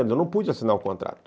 Eu não pude assinar o contrato.